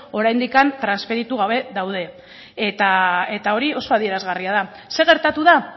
oraindik transferitu gabe daude eta hori oso adierazgarria da zer gertatu da